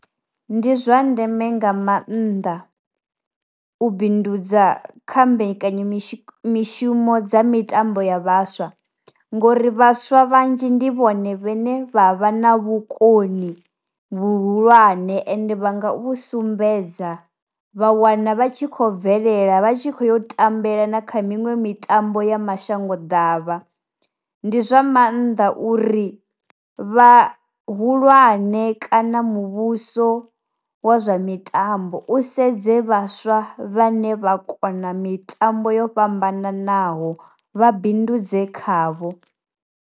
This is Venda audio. Ndi zwa ndeme nga maanḓa u bindudza kha mbekanyamishumo dza mitambo ya vhaswa, ngori vhaswa vhanzhi ndi vhone vhane vha vha na vhukoni vhuhulwane ende vhanga vhu sumbedza vha wana vha tshi khou bvelela vhatshi kho yo tambela na kha miṅwe mitambo ya mashango davha, ndi zwa maanḓa uri vha hulwane kana muvhuso wa zwa mitambo u sedze vhaswa vhane vha kona mitambo yo fhambananaho vha bindudze khavho.